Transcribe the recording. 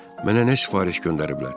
Mənə nə sifariş göndəriblər?